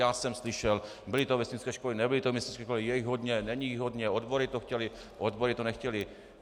Já jsem slyšel: byly to vesnické školy, nebyly to vesnické školy, je jich hodně, není jich hodně, odbory to chtěly, odbory to nechtěly.